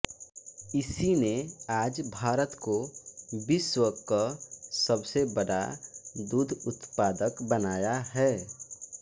इसी ने आज भारत को विश्व क सबसे बडा दुध उत्पादक बनाया है